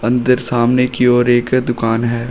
अंदर सामने की ओर एक दुकान है।